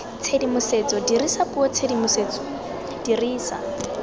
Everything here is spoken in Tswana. tshedimosetso dirisa puo tshedimosetso dirisa